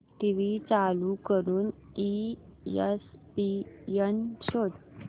TV चालू करून ESPN शोध